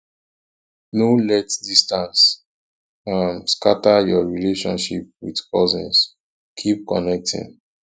no let distance um scatter your relationship with cousins keep connecting